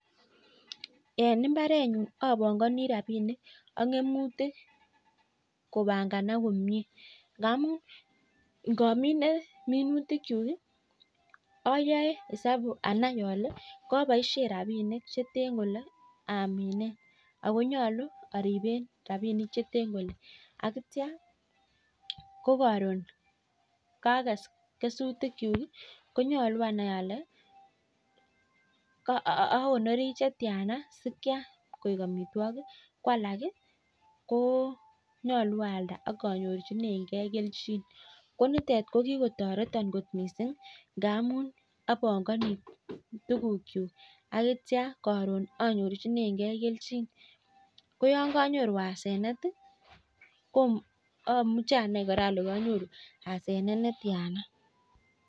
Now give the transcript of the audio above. En mbarenu apongani rapinikak minutik kopanganak komie. Namun namine minutikchuk ayae esabu anai ale kaboishe rapinik che ten kole amine akonyolu aripe rapinik che ten kole. Akitio ko karon kakes kesutikchuk konyolu anai kole akonori chetiana koek amitwagik ko alak ko nyolu aalda ak anyorchinegei kelchin. Ko nitet ko kikotoreto kot mising ngamun apangani tukuk chuk akotio karon anyorchinegei kelchin. Ko yon kanyoru asenet amuche amai male kanyoru asenet netia.